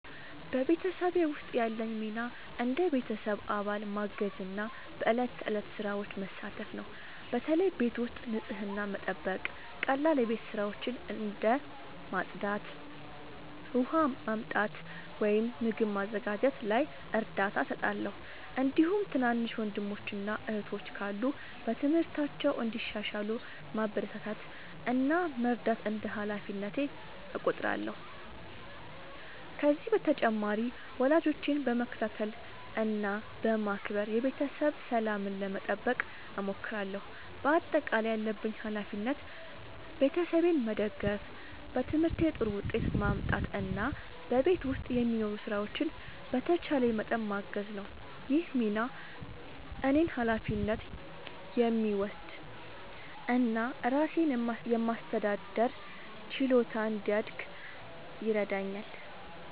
በቤተሰቤ ውስጥ ያለኝ ሚና እንደ ቤተሰብ አባል ማገዝና በዕለት ተዕለት ሥራዎች መሳተፍ ነው። በተለይ ቤት ውስጥ ንጽህናን መጠበቅ፣ ቀላል የቤት ሥራዎችን እንደ ማጽዳት፣ ውሃ ማመጣት ወይም ምግብ ማዘጋጀት ላይ እርዳታ እሰጣለሁ። እንዲሁም ትናንሽ ወንድሞችና እህቶች ካሉ በትምህርታቸው እንዲሻሻሉ ማበረታታት እና መርዳት እንደ ሃላፊነቴ እቆጥራለሁ። ከዚህ በተጨማሪ ወላጆቼን በመከታተል እና በማክበር የቤተሰብ ሰላምን ለመጠበቅ እሞክራለሁ። በአጠቃላይ ያለብኝ ሃላፊነት ቤተሰቤን መደገፍ፣ በትምህርቴ ጥሩ ውጤት ማምጣት እና በቤት ውስጥ የሚኖሩ ሥራዎችን በተቻለኝ መጠን ማገዝ ነው። ይህ ሚና እኔን ኃላፊነት የሚወስድ እና ራሴን የማስተዳደር ችሎታ እንዲያድግ ይረዳኛል።